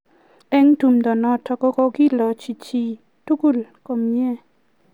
eng' tumdo notok ko koilochi chii tugul komie